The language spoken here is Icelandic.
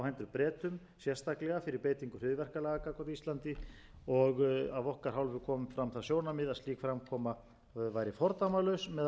bretum sérstaklega fyrir beitingu hryðjuverkalaga gagnvart íslandi og af okkar hálfu kom fram það sjónarmið að slík framkoma væri fordæmalaus meðal vinaþjóða enn